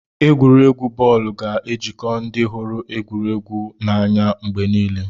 Egwuregwu bọọlụ ga-ejikọ ndị hụrụ egwuregwu n'anya mgbe niile.